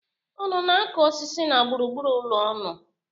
Unu na-akụ osisi na gburugburu ụlọ unu.